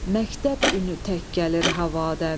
Məktəb öyünü tək gəlir havadən.